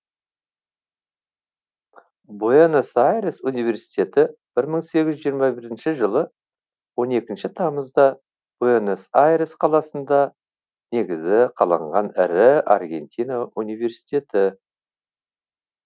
буэнос айрес университеті бір мың сегіз жүз жиырма бірінші жылы он екінші тамызда буэнос айрес қаласында негізі қаланған ірі аргентина университеті